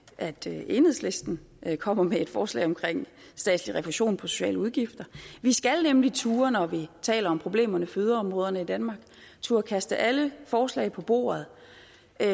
enhedslisten kommer med et forslag om statslig refusion på sociale udgifter vi skal nemlig når vi taler om problemerne for yderområderne i danmark turde kaste alle forslag på bordet